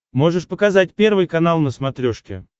можешь показать первый канал на смотрешке